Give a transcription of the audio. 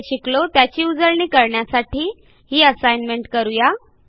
आपण जे शिकलो त्याची उजळणी करण्यासाठी ही असाईनमेंट करू या